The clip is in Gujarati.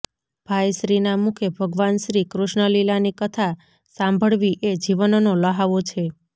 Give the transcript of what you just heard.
ભાઇશ્રીના મુખે ભગવાનશ્રી કૃષ્ણલીલાની કથા સાંભળવી એ જીવનનો લ્હાવો છે